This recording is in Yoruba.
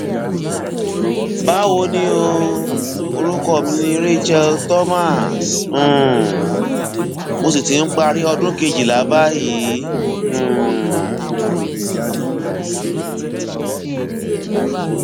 bawo ni o orúkọ mi ni rachel thomas um mo sì ti ń parí ọdún kejìlá báyìí um